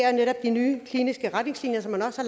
er netop de nye kliniske retningslinjer som man også